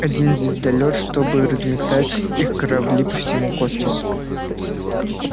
один звездолёт чтобы разметать их корабли по всему космосу